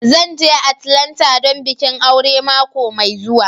Zan je Atlanta don bikin aure mako mai zuwa.